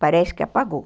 Parece que apagou.